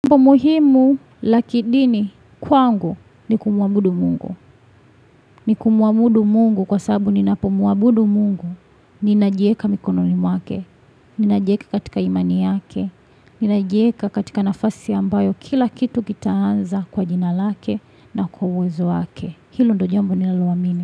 Umuhimu la kidini kwangu ni kumwabudu Mungu. Ni kumwabudu mungu kwa sabu ninapo mwabudu mungu. Ninajieka mikononi mwake. Ninajieka katika imani yake. Ninajieka katika nafasi ambayo kila kitu kitaanza kwa jina lake na kwa uwezo wake. Hilo ndio jambo ninaloamini.